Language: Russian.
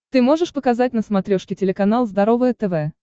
ты можешь показать на смотрешке телеканал здоровое тв